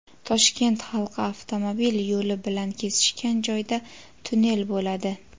Toshkent halqa avtomobil yo‘li bilan kesishgan joyda tunnel bo‘ladi.